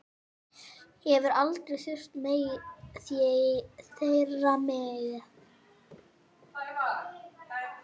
Hef aldrei þurft þeirra með.